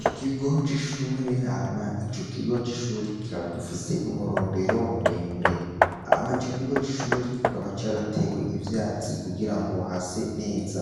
Ikigo c' ishure hama ico kigo c' ishure kikaba gifise umurombero muremure. Hama Ico kigo c' ishure kikaba caratewe ivyatsi kugirango hase neza.